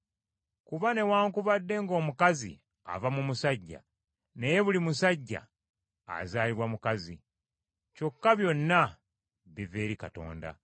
Kuba, newaakubadde ng’omukazi ava mu musajja, naye buli musajja azaalibwa mukazi; kyokka byonna biva eri Katonda.